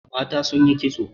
Mata sun yi kitso.